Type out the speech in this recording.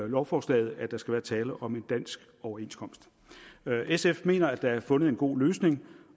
lovforslaget at der skal være tale om en dansk overenskomst sf mener at der er fundet en god løsning